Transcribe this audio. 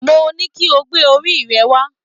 Mo ní kí o gbé orí rẹ wá